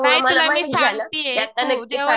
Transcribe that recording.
नाही तुला मी सांगतीये